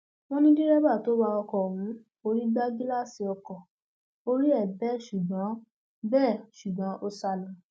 wọn ní dẹrẹbà tó wa ọkọ ọhún forí gba gíláàsì ọkọ orí ẹ bẹ ṣùgbọn bẹ ṣùgbọn ó sá lọ